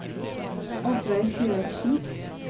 Oddveig Syvertsen